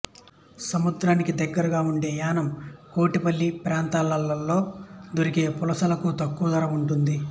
సముద్రానికి దగ్గరగా ఉండే యానాం కోటిపల్లి ప్రాంతాల్లో దొరికే పులసలకు తక్కువధర ఉంటుంది